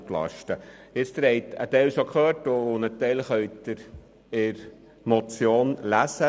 Einen Teil haben Sie schon gehört und einen Teil können Sie in der Motion lesen.